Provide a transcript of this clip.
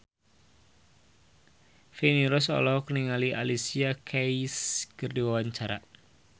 Feni Rose olohok ningali Alicia Keys keur diwawancara